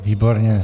Výborně.